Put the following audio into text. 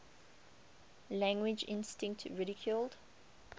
language instinct ridiculed